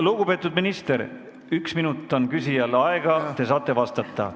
Lugupeetud minister, üks minut on küsijal aega, te saate veel vastata!